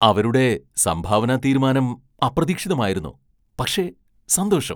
അവരുടെ സംഭാവനാതീരുമാനം അപ്രതീക്ഷിതമായിരുന്നു, പക്ഷേ സന്തോഷം.